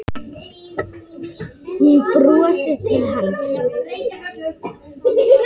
Hún brosti til hans.